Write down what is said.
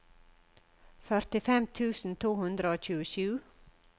førtifem tusen to hundre og tjuesju